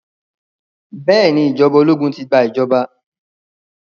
Bẹ́ẹ̀ ni ìjọba ológun ti gba ìjọba.